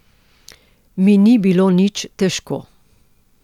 Mi ni bilo nič težko.